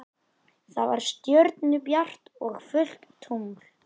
Það var stjörnubjart og fullt tungl.